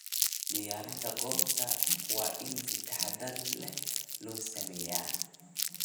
Diyaarinta goobta waa in si taxadar leh loo sameeyaa.